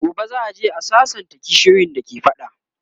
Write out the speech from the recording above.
gobe za'a je a sassanta kishiyoyin da ke fada